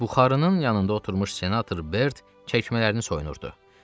Buxarının yanında oturmuş senator Bert çəkmələrini soyunurdu.